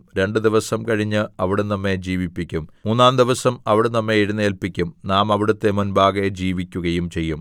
രണ്ടു ദിവസം കഴിഞ്ഞ് അവിടുന്ന് നമ്മെ ജീവിപ്പിക്കും മൂന്നാംദിവസം അവിടുന്ന് നമ്മെ എഴുന്നേല്പിക്കും നാം അവിടുത്തെ മുമ്പാകെ ജീവിക്കുകയും ചെയ്യും